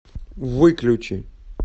выключи